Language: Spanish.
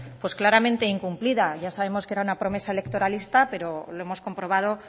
pues claramente incumplida ya sabíamos que era una promesa electoralista pero lo hemos comprobado